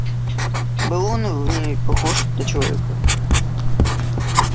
был он в ней похож на человека